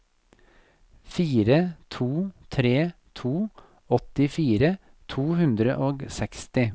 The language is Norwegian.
fire to tre to åttifire to hundre og seksti